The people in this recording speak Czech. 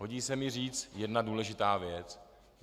Hodí se mi říci jedna důležitá věc.